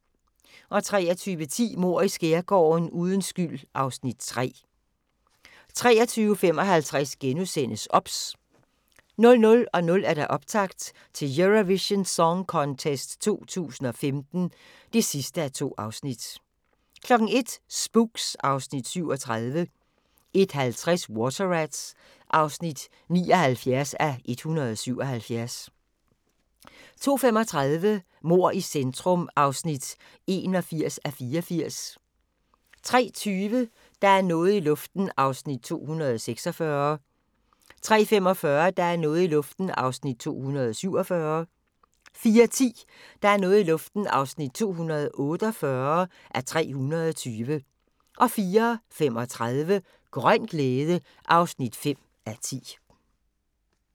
23:10: Mord i Skærgården: Uden skyld (Afs. 3) 23:55: OBS * 00:00: Optakt til Eurovision Song Contest 2015 (2:2) 01:00: Spooks (Afs. 37) 01:50: Water Rats (79:177) 02:35: Mord i centrum (81:84) 03:20: Der er noget i luften (246:320) 03:45: Der er noget i luften (247:320) 04:10: Der er noget i luften (248:320) 04:35: Grøn glæde (5:10)